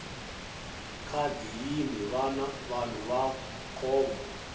khadi yini vanhu va nkombo